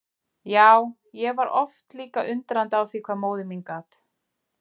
Já, ég var líka oft undrandi á því hvað móðir mín gat.